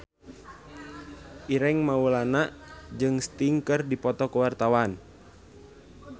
Ireng Maulana jeung Sting keur dipoto ku wartawan